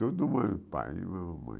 Tudo do mesmo pai e mesma mãe.